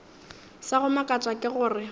sa go makatša ke gore